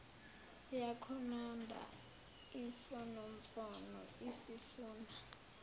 yakhononda imfonomfono isifuna